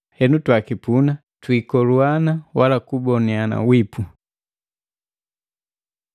Henu twakipuna, twisokonzana wala kuboniani wipu.